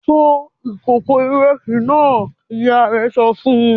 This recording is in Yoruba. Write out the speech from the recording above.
"Fọ ìkòkò ìrẹsì náà!" Ìyá rẹ̀ sọ fún un.